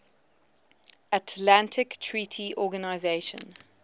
atlantic treaty organisation